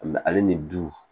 ale ni du